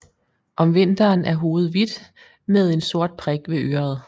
Om vinteren er hovedet hvidt med en sort prik ved øret